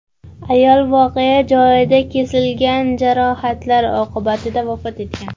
Ayol voqea joyida, kesilgan jarohatlar oqibatida vafot etgan.